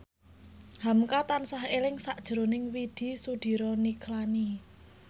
hamka tansah eling sakjroning Widy Soediro Nichlany